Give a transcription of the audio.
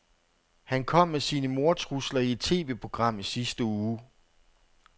Han kom med sine mordtrusler i et TVprogram i sidste uge.